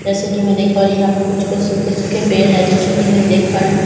जैसा की मैं देख पा रही हूँ यहाँ पे कुछ-कुछ सूखे-सूखे पेड़ हैं जैसा की मैं देख पा रही हूँ --